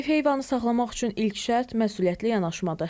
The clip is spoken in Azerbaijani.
Ev heyvanı saxlamaq üçün ilk şərt məsuliyyətli yanaşmadır.